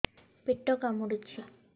ପେଟ କାମୁଡୁଛି